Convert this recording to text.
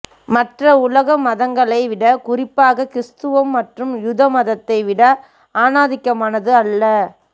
மற்ற உலக மதங்களை விட குறிப்பாக கிறிஸ்தவம் மற்றும் யூத மதத்தை விட ஆணாதிக்கமானது அல்ல